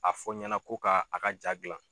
A fɔ n ɲɛna ko ka a ka jaa gilan